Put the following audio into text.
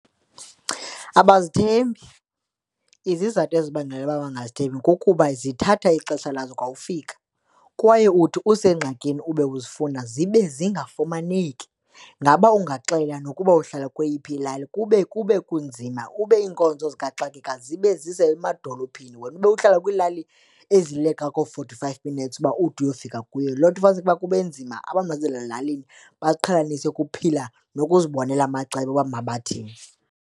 Abazithembi, izizathu ezibangela uba bangazithembi kukuba zithatha ixesha lazo kwa ukufika. Kwaye uthi usengxakini ube uzifuna zibe zingafumaneki. Ngaba ungaxela nokuba uhlala kweyiphi ilali kube kube kunzima ube iinkonzo zikaxakeka zibe zisemadolophini wena ube uhlala kwiilali ezileqa koo-forty five minutes uba ude uyofika kuyo. Loo nto ufumaniseke ukuba kube nzima abantu basezilalini baziqhelanise ukuphila nokuzibonela amacebo woba mabathini.